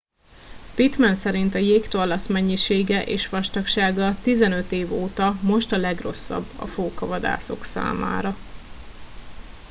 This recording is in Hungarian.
pittman szerint a jégtorlasz mennyisége és vastagsága 15 év óta most a legrosszabb a fókavadászok számára